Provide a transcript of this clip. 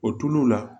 O tulu la